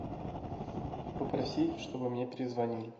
попроси чтобы мне перезвонили